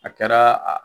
A kɛra